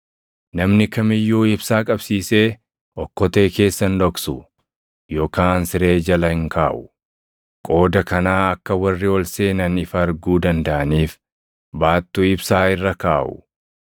“Namni kam iyyuu ibsaa qabsiisee okkotee keessa hin dhoksu yookaan siree jala hin kaaʼu. Qooda kanaa akka warri ol seenan ifa arguu dandaʼaniif baattuu ibsaa irra kaaʼu.